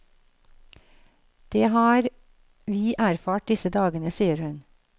Det har vi erfart disse dagene, sier hun.